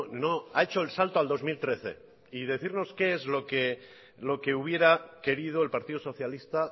no ha hecho el salto al dos mil trece y decirnos qué es lo que hubiera querido el partido socialista